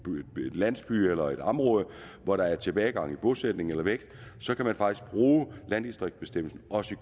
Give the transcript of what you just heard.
landsby eller et område hvor der er en tilbagegang i bosætningen eller væksten så kan man faktisk bruge landdistriktsbestemmelsen også